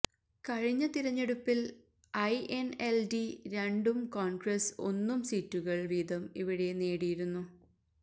കഴിഞ്ഞ തിരഞ്ഞെടുപ്പില് ഐഎന്എല്ഡി രണ്ടും കോണ്ഗ്രസ് ഒന്നും സീറ്റുകള് വീതം ഇവിടെ നേടിയിരുന്നു